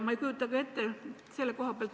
Ma ei kujuta ette.